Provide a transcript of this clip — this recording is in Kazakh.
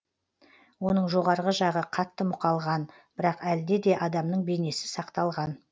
оның жоғарғы жағы қатты мұқалған бірақ әлде де адамның бейнесі сақталған